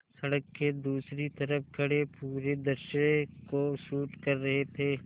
सड़क के दूसरी तरफ़ खड़े पूरे दृश्य को शूट कर रहे थे